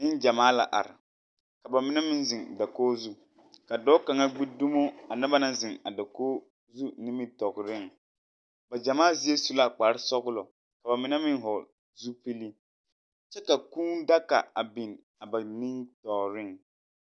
Neŋgyamaa la are, ka ba mine meŋ zeŋ dakogi zu. Ka dͻͻ kaŋa gbi dumo a noba naŋ zeŋ a dakogi zu nimitͻgereŋ. Ba gyamaa zie su la kpare-sͻgelͻ ka ba mine meŋ vͻgele zupili kyԑ ka kũũ daga a biŋ a ba niŋ-tͻͻreŋ.